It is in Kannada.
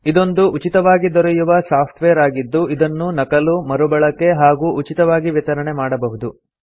ಇದೊಂದು ಉಚಿತವಾಗಿ ದೊರೆಯುವ ಸಾಫ್ಟ್ ವೇರ್ ಆಗಿದ್ದು ಇದನ್ನು ನಕಲು ಮರುಬಳಕೆ ಹಾಗೂ ಉಚಿತವಾಗಿ ವಿತರಣೆ ಮಾಡಬಹುದು